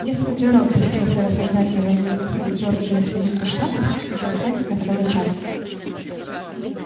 если джералд пустился рассуждать о войне и выходе джорджии из союза штатов этого хватит на целый час